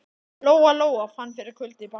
Lóa Lóa fann fyrir kulda í bakinu.